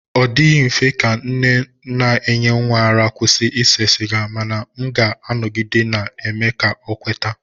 Ọ dịghị mfe ka nne na-enye nwa ara ịkwụsị ise siga mana m ga-anọgide na-eme ka ọ kweta.